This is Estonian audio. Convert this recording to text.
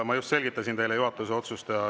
Ma just selgitasin teile juhatuse otsust.